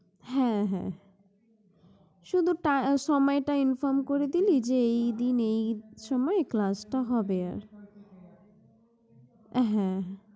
হ্যাঁ হ্যাঁ হ্যাঁ, শুধু টা~ সময়টা inform করে দিলি যে এইদিন এইসময় class টা হবে আর, হ্যাঁ